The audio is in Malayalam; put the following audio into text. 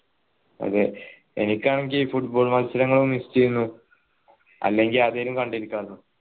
അതെ എനിക്കാണെങ്കി ഈ football മത്സരങ്ങളും miss ചെയുന്നു അല്ലെങ്കി അതെങ്ങി കണ്ടിരിക്കാലോ